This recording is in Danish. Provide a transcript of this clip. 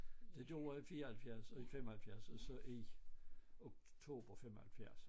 Det gjorde jeg i 74 og i 75 og så i oktober 75